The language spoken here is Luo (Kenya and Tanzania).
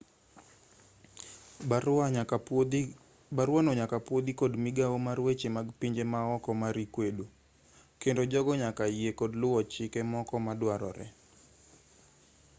baruano nyaka pwodhi kod migawo mar weche mag pinje maoko mar ecuador kendo jogo nyaka yie kod luwo chike moko maduarore